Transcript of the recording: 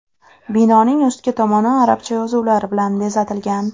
Binoning ustki tomoni arabcha yozuvlar bilan bezatilgan.